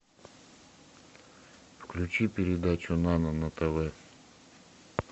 включи передачу нано на тв